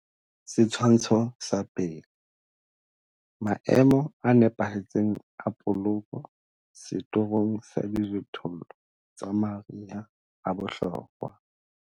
Setshwantsho sa 1. Maemo a nepahetseng a poloko setorong sa dijothollo tsa mariha a bohlokwa.